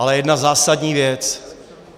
Ale jedna zásadní věc.